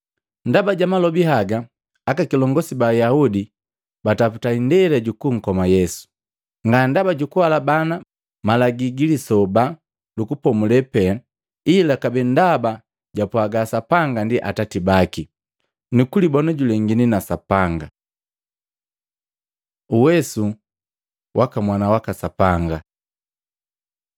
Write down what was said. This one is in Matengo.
Ndaba ja malobi haga, akikilongosi ba Ayaudi bataputa indela jukunkoma Yesu, nga ndaba jukuhalabana Malagi gi Lisoba lu Kupomulela pee, ila kabee ndaba japwaga Sapanga ndi Atati baki, nukulibona julengini na Sapanga. Uwesu waka mwana waka Sapanga